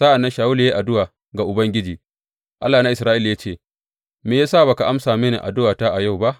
Sa’an nan Shawulu ya yi addu’a ga Ubangiji, Allah na Isra’ila ya ce, Me ya sa ba ka amsa mini addu’ata a yau ba?